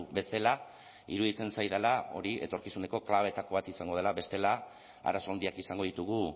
bezala iruditzen zaidala hori etorkizuneko klabeetako bat izango dela bestela arazo handiak izango ditugu